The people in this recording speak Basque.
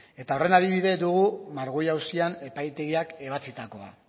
eta horren adibide guru margüello auzian epaitegiak ebatzitakoa